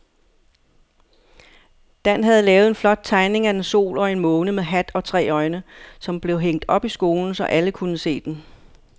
Dan havde lavet en flot tegning af en sol og en måne med hat og tre øjne, som blev hængt op i skolen, så alle kunne se den.